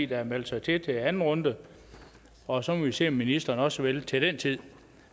der har meldt sig til til anden runde og så må vi se om ministeren også vil til den tid